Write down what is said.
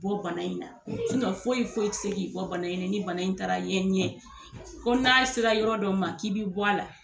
I bɔ bana in na foyi foyi tɛ se k' i bɔ bana in na ni bana in taara ye n ɲɛ ko n'a sera yɔrɔ dɔ ma k'i bɛ bɔ a la